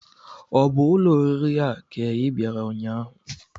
Ọ bụ ụlọ oriri a ka ị bịara ụnyaahụ?